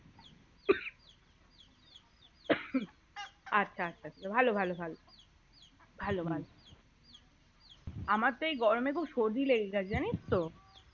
আচ্ছা আচ্ছা ভালো ভালো ভালো ভালো ভালো আমার তো এই গরমে খুব সর্দি লেগে গেছে জানিস তো